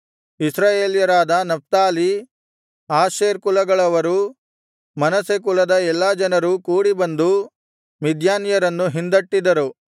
ಇಸ್ರಾಯೇಲ್ಯರಾದ Naphtali Asher ಕುಲಗಳವರೂ Manasseh ಕುಲದ ಎಲ್ಲಾ ಜನರೂ ಕೂಡಿ ಬಂದು ಮಿದ್ಯಾನ್ಯರನ್ನು ಹಿಂದಟ್ಟಿದರು